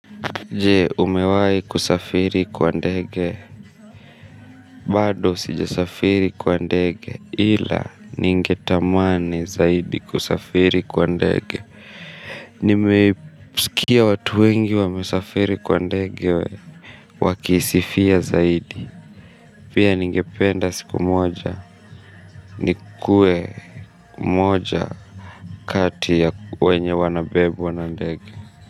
Je umewai kusafiri kwa ndege, bado sijasafiri kwa ndege, ila ningetamani zaidi kusafiri kwa ndege. Nimeisikia watu wengi wamesafiri kwa ndege, wakisifia zaidi, pia ningependa siku moja, nikue moja kati ya wenye wanabebwa na ndege.